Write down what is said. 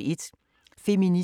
DR P2